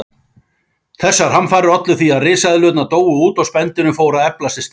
Þessar hamfarir ollu því að risaeðlurnar dóu út og spendýrin fóru að eflast í staðinn.